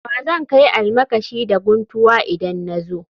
Wa zan kai almakashi da guntuwa idan na zo